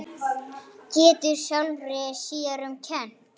Getur sjálfri sér um kennt.